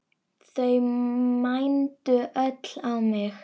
Þau mændu öll á mig.